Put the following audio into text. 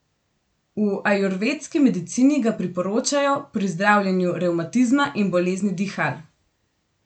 V ajurvedski medicini ga priporočajo pri zdravljenju revmatizma in bolezni dihal.